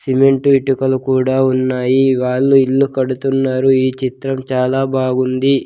Cement ఇటుకలు కూడా ఉన్నాయి వాళ్ళు ఇల్లు కడుతున్నారు ఈ చిత్రం చాలా బాగుంది.